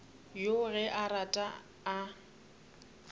yoo ge a rata a